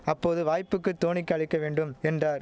அப்போது வாய்ப்புக்கு தோனிக்கு அளிக்க வேண்டும் என்றார்